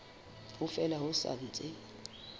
ha fela ho sa ntse